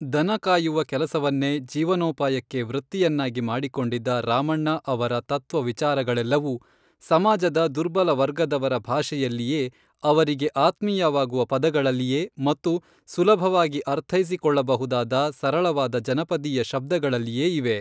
ದನ ಕಾಯುವ ಕೆಲಸವನ್ನೇ ಜೀವನೋಪಾಯಕ್ಕೆ ವೃತ್ತಿಯನ್ನಾಗಿ ಮಾಡಿಕೊಂಡಿದ್ದ ರಾಮಣ್ಣ ಅವರ ತತ್ವ ವಿಚಾರಗಳೆಲ್ಲವೂ ಸಮಾಜದ ದುರ್ಬಲ ವರ್ಗದವರ ಭಾಷೆಯಲ್ಲಿಯೇ ಅವರಿಗೆ ಆತ್ಮೀಯವಾಗುವ ಪದಗಳಲ್ಲಿಯೇ ಮತ್ತು ಸುಲಭವಾಗಿ ಅರ್ಥೈಸಿಕೊಳ್ಳಬಹುದಾದ ಸರಳವಾದ ಜನಪದೀಯ ಶಬ್ದಗಳಲ್ಲಿಯೇ ಇವೆ